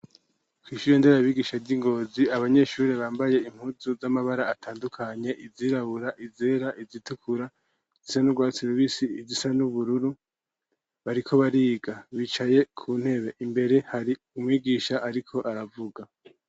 Kw'ishure nderabigisha, ry'i Ngozi, abanyeshure, bambaye impuzu z'amabara atandukanye, izirabura, izera, izitukura, izisa n'urwatsi rubisi, izisa n'ubururu, bariko bariga; bicaye ku ntebe, imbere hari umwigisha, ariko aravuga.